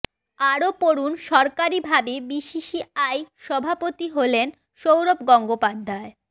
আরও পড়ুন সরকারি ভাবে বিসিসিআই সভাপতি হলেন সৌরভ গঙ্গোপাধ্য়ায়